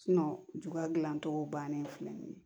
ju ka gilan cogo bannen filɛ nin ye